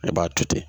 I b'a to ten